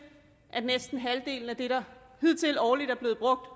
at næsten halvdelen af det der hidtil årligt er blevet brugt